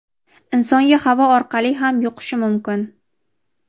insonga havo orqali ham yuqishi mukin.